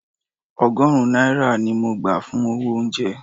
Ọgọ́rùn-ún náírà ni mo gbà fún owó oúnjẹ